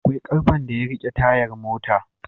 Akwai karfen da yarike tayar mota